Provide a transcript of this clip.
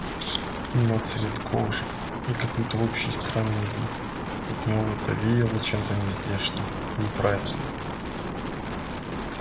но цвет кожи и какой-то общий странный вид от него будто веяло чем-то нездешним неправильным